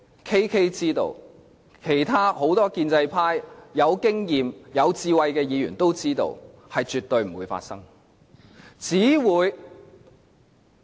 KK 知道，其他很多有經驗、有智慧的建制派議員都知道，這是絕對不會發生的。